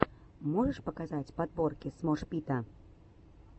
можешь показать подборки смош пита